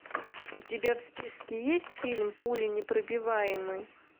у тебя в списке есть фильм пуленепробиваемый